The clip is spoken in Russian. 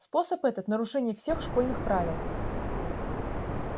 способ этот нарушение всех школьных правил